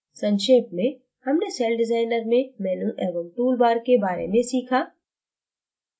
संक्षेप में हमने सेलडिज़ाइनर में menu एवं tool bar के bar में सीखा